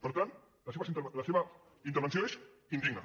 per tant la seva intervenció és indigna